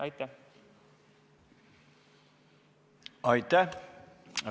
Aitäh!